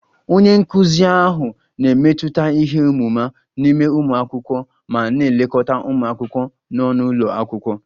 Onye nkụzi ahụ na-emetụta ihe ọmụma n'ime ụmụ akwụkwọ ma na-elekọta ụmụ akwụkwọ nọ n'ụlọ akwụkwọ